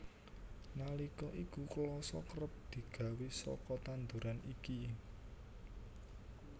Nalika iku klasa kerep digawé saka tanduran iki